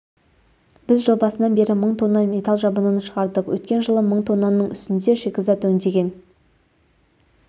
біз жыл басынан бері мың тонна металл жабынын шығардық өткен жылы мың тоннаның үстінде шикізат өңдеген